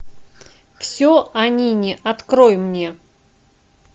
все о нине открой мне